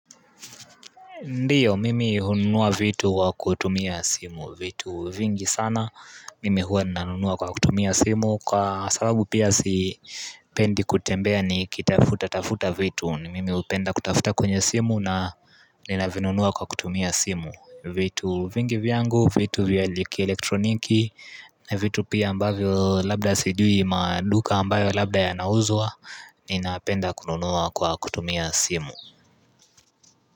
Ndiyo, mimi hununua vitu kwa kutumia simu, vitu vingi sana, mimi huwa nina nunua kwa kutumia simu Kwa sababu pia sipendi kutembea ni kitafuta tafuta vitu, ni mimi hupenda kutafuta kwenye simu na nina vinunua kwa kutumia simu. Vitu vingi vyangu, vitu vya ki elektroniki, na vitu pia ambavyo labda sijui maduka ambayo labda ya nauzwa, nina penda kununua kwa kutumia simu.